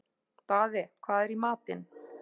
Daði, hvað er í matinn?